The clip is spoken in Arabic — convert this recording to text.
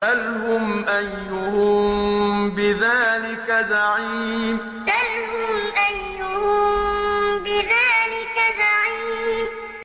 سَلْهُمْ أَيُّهُم بِذَٰلِكَ زَعِيمٌ سَلْهُمْ أَيُّهُم بِذَٰلِكَ زَعِيمٌ